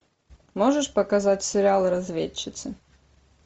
можешь показать сериал разведчицы